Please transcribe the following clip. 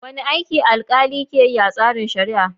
Wane aiki alkali ke yi a tsarin shari'a?